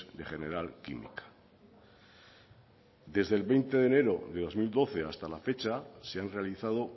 de general química desde el veinte de enero de dos mil doce hasta la fecha se han realizado